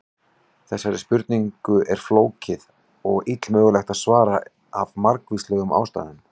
Þessari spurningu er flókið og illmögulegt að svara af margvíslegum ástæðum.